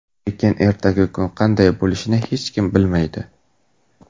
Lekin ertangi kun qanday bo‘lishini hech kim bilmaydi.